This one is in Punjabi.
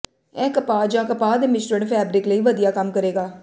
ਇਹ ਕਪਾਹ ਜਾਂ ਕਪਾਹ ਦੇ ਮਿਸ਼ਰਣ ਫੈਬਰਿਕ ਲਈ ਵਧੀਆ ਕੰਮ ਕਰੇਗਾ